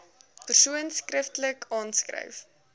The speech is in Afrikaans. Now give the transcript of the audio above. persoon skriftelik aanskryf